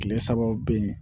Kile sabaw be yen